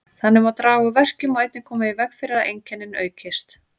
Þannig má draga úr verkjum og einnig koma í veg fyrir að einkennin aukist.